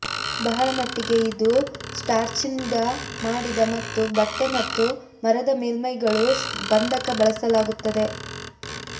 ಬಹಳ ಮಟ್ಟಿಗೆ ಇದು ಸ್ಟಾರ್ಚ್ನಿಂದ ಮಾಡಿದ ಮತ್ತು ಬಟ್ಟೆ ಮತ್ತು ಮರದ ಮೇಲ್ಮೈಗಳು ಬಂಧಕ ಬಳಸಲಾಗುತ್ತದೆ